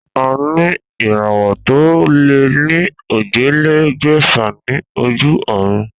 A ní ìràwò tó lé ní ójìlélégbèfà ní ojú òrun